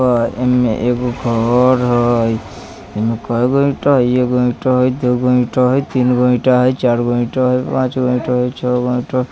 और एमे एक घर हई एमे केगो ईटा हई एगो ईटा हई दोगो ईटा हई तीनगो ईटा हई चारगो ईटा हई पाँचगो ईटा हई छैगो ईटा हई।